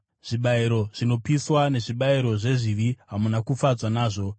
zvibayiro zvinopiswa nezvibayiro zvezvivi hamuna kufadzwa nazvo.